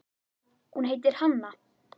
Hún heitir Hanna.